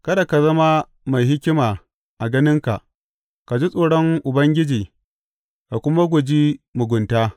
Kada ka zama mai hikima a ganinka; ka ji tsoron Ubangiji ka kuma guji mugunta.